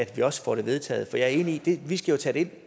vi også får det vedtaget for jeg er enig i at vi jo skal tage det